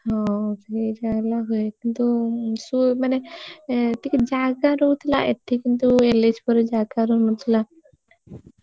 ହଁ ସେଇ ଟା ହେଲା ହୁଏ କିନ୍ତୁ ମାନେ ଟିକେ ଜାଗା ରହୁଥିଲା ଏଠି କିନ୍ତୁ ଏଲେଚପୁର ରେ ଜାଗା ରହୁ ନଥିଲ।